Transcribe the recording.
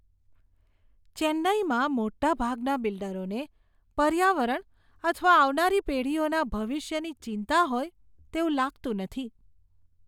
ચેન્નાઈમાં મોટાભાગના બિલ્ડરોને પર્યાવરણ અથવા આવનારી પેઢીઓના ભવિષ્યની ચિંતા હોય તેવું લાગતું નથી.